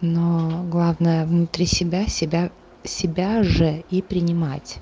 но главное внутри себя себя себя же и принимать